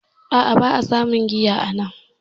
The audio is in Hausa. A a, ba a samun giya anan